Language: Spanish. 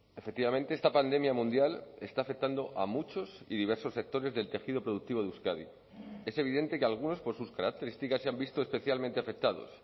efectivamente esta pandemia mundial está afectando a muchos y diversos sectores del tejido productivo de euskadi es evidente que algunos por sus características se han visto especialmente afectados